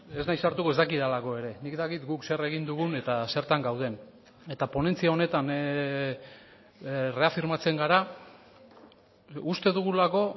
ez naiz sartuko ez dakidalako ere nik dakit guk zer egin dugun eta zertan gauden eta ponentzia honetan erreafirmatzen gara uste dugulako